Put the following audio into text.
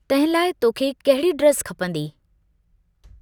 तंहिं लाइ तोखे कहिड़ी ड्रेस खपंदी?